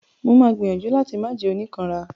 Mo máa gbìyànjú láti máà jẹ́ oníkanra.